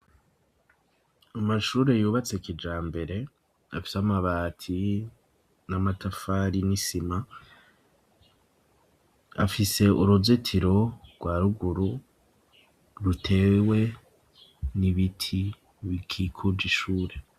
Amashure yubatse kija mbere, afise amabati n'amatafari n'isima .Afise uruzetiro rwa ruguru, rutewe n'ibiti bikikuje ishure.